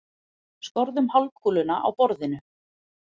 Skorðum hálfkúluna á borðinu.